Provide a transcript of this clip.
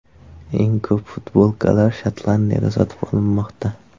Eng ko‘p futbolkalar Shotlandiyada sotib olinmoqda.